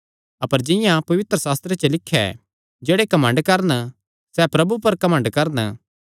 अपर जिंआं पवित्रशास्त्रे च लिख्या ऐ जेह्ड़े घमंड करन सैह़ प्रभु पर घमंड करन